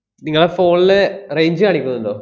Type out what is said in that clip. നിങ്ങളെ phone ല് range അ് കാണിക്കുന്നുണ്ടോ?